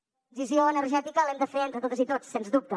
la transició energètica l’hem de fer entre totes i tots sens dubte